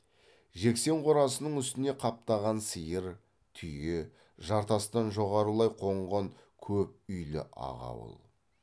жексен қорасының үстіне қаптаған сиыр түйе жартастан жоғарылай қонған көп үйлі ақ ауыл